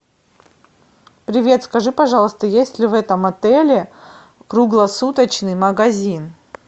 привет скажи пожалуйста есть ли в этом отеле круглосуточный магазин